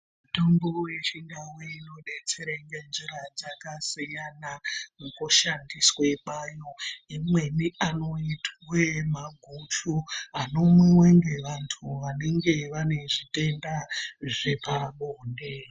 Mitombo yechindau inodetsere ngenjira dzakasiyana mukushandiswe kwayo imweni anoitwe maguju anomwiwe nevanthu vanenge vane zvitenda zvepabonde.